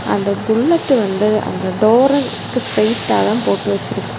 அந்தப் புல்லட்டு வந்து அந்த டோருக்கு ஸ்ட்ரைட்டாதா போட்டு வெச்சிருக்--